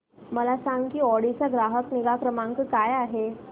मला सांग की ऑडी चा ग्राहक निगा क्रमांक काय आहे